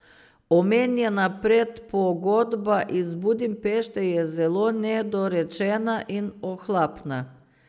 Omenjena predpogodba iz Budimpešte je zelo nedorečena in ohlapna.